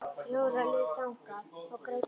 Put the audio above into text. Jóra leit þangað og greip andann á lofti.